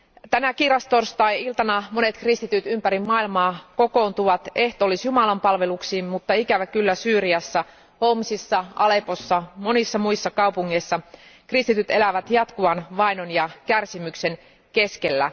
Tänä kiirastorstai iltana monet kristityt ympäri maailmaa kokoontuvat ehtoollisjumalanpalveluksiin, mutta ikävä kyllä Syyriassa Homsissa, Aleppossa ja monissa muissa kaupungeissa kristityt elävät jatkuvan vainon ja kärsimyksen keskellä.